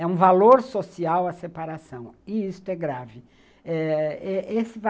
É um valor social a separação, e isto é grave. Eh, é esse